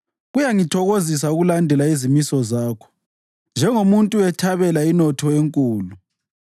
Kuyangithokozisa ukulandela izimiso zakho njengomuntu ethabela inotho enkulu.